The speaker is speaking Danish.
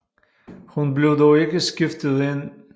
Hun blev dog ikke skiftet ind